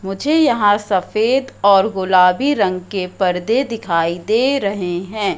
मुझे यहां सफेद और गुलाबी रंग के पर्दे दिखाई दे रहें हैं।